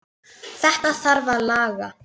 Þetta þarf að laga.